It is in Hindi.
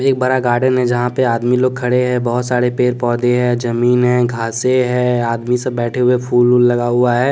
एक बड़ा गार्डन है जहाँ पर आदमी लोग खड़े हैं बहुत सारे पेड़ पौधे हैं जमीन है घासे है आदमी सब बैठे हुए फूल ऊल लगा हुआ है।